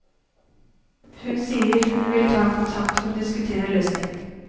Hun sier hun vil ta kontakt for å diskutere en løsning.